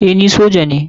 Eh ni soja ne.